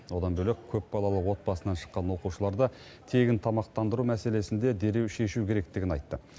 одан бөлек көпбалалы отбасынан шыққан оқушыларды тегін тамақтандыру мәселесін де дереу шешу керектігін айтты